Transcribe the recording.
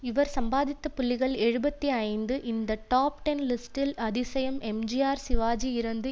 இவர் சம்பாதித்த புள்ளிகள் எழுபத்து ஐந்து இந்த டாப் டென் லிஸ்டின் அதிசயம் எம்ஜிஆர் சிவாஜி இறந்து